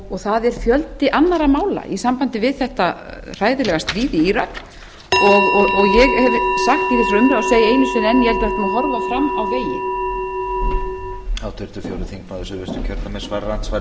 og það er fjöldi annarra mála í sambandi við þetta hræðilega stríð í írak og ég ég hef sagt í þessari umræðu og segi einu sinni enn ég held að við ættum að horfa fram á veginn